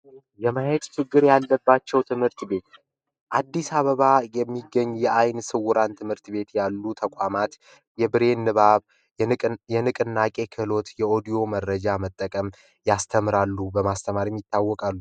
የማየት ችግር ያለባቸው ትምህርት ቤት አዲስ አበባ የሚገኙ የዓይነ ስውራን ትምህርት ቤት ያሉ ተቋማት የአይን ንባብ፤ የንቅናቄ ክህሎትና፣ የኦዲዮ መረጃ በመጠቀም ያስተምራሉ በማስተማርም ይታወቃሉ።